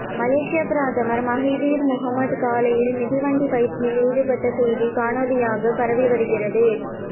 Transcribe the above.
மலேசியப் பிரதமர் Mahathir Mohamad காலையில் மிதிவண்டி பயிற்சியில் ஈடுபட்ட செய்தி காணொளியாக பராவிவருகிறது